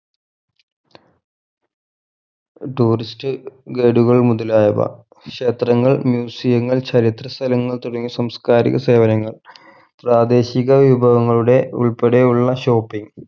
tourist ഗരുകൾ മുതലായവ ക്ഷേത്രങ്ങൾ museum ങ്ങൾ ചരിത്ര സ്ഥലങ്ങൾ തുടങ്ങിയ സാംസ്‌കാരിക സേവനങ്ങൾ പ്രാദേശിക വിഭവങ്ങളുടെ ഉൾപ്പടെയുള്ള shopping